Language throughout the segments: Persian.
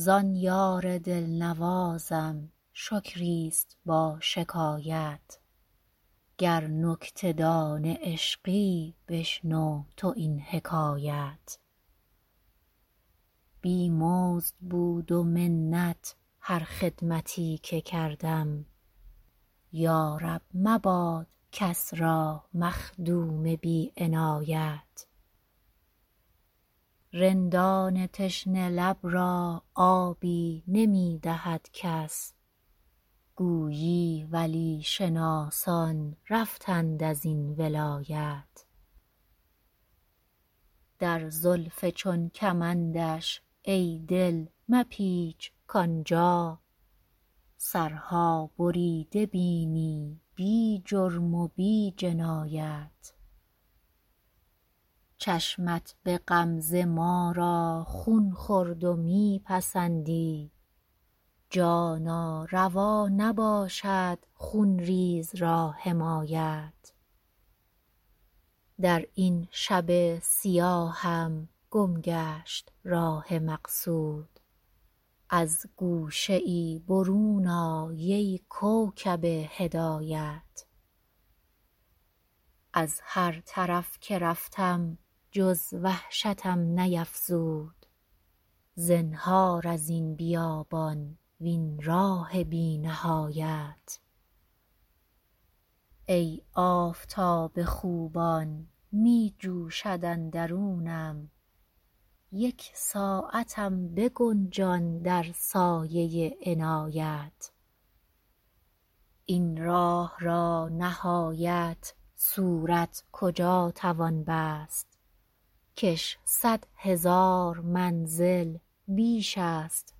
زان یار دل نوازم شکری است با شکایت گر نکته دان عشقی بشنو تو این حکایت بی مزد بود و منت هر خدمتی که کردم یا رب مباد کس را مخدوم بی عنایت رندان تشنه لب را آبی نمی دهد کس گویی ولی شناسان رفتند از این ولایت در زلف چون کمندش ای دل مپیچ کآن جا سرها بریده بینی بی جرم و بی جنایت چشمت به غمزه ما را خون خورد و می پسندی جانا روا نباشد خون ریز را حمایت در این شب سیاهم گم گشت راه مقصود از گوشه ای برون آی ای کوکب هدایت از هر طرف که رفتم جز وحشتم نیفزود زنهار از این بیابان وین راه بی نهایت ای آفتاب خوبان می جوشد اندرونم یک ساعتم بگنجان در سایه عنایت این راه را نهایت صورت کجا توان بست کش صد هزار منزل بیش است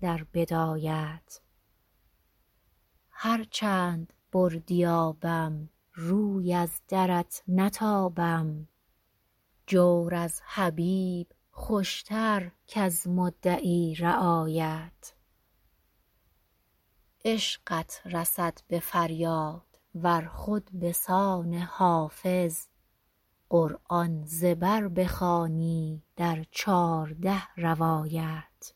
در بدایت هر چند بردی آبم روی از درت نتابم جور از حبیب خوش تر کز مدعی رعایت عشقت رسد به فریاد ار خود به سان حافظ قرآن ز بر بخوانی در چارده روایت